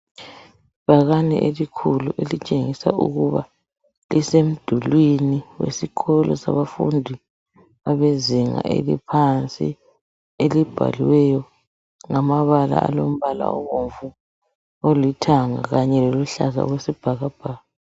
Ibhakane elikhulu elitshengisa ukuba lisemdulwini wesikolo sabafundi abezinga eliphansi, elibhaliweyo ngamabala alombala obomvu ,olithanga kanye loluhlaza wesibhakabhaka.